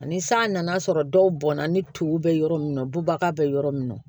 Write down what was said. Ani san nan'a sɔrɔ dɔw bɔnna ni tow bɛ yɔrɔ min na bubaga bɛ yɔrɔ min na